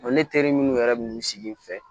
Ne teri minnu yɛrɛ bɛ n sigi n fɛ